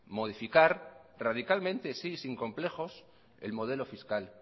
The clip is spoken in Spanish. modificar radicalmente sin complejos el modelo fiscal